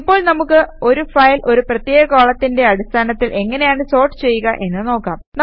ഇപ്പോൾ നമുക്ക് ഒരു ഫയൽ ഒരു പ്രത്യേക കോളത്തിന്റെ അടിസ്ഥാനത്തിൽ എങ്ങനെയാണ് സോർട്ട് ചെയ്യുക എന്ന് നോക്കാം